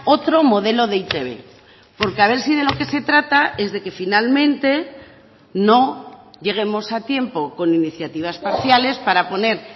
otro modelo de e i te be porque a ver si de lo que se trata es de que finalmente no lleguemos a tiempo con iniciativas parciales para poner